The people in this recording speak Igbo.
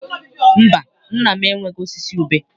Mba, nna m enweghị osisi ube.